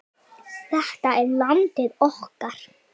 Þetta er landið okkar.